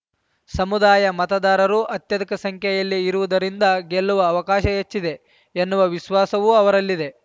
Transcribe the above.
ಸಮುದಾಯ ಮತದಾರರು ಅತ್ಯಧಿಕ ಸಂಖ್ಯೆಯಲ್ಲಿ ಇರುವುದರಿಂದ ಗೆಲ್ಲುವ ಅವಕಾಶ ಹೆಚ್ಚಿದೆ ಎನ್ನುವ ವಿಸ್ವಾಸವೂ ಅವರಲ್ಲಿದೆ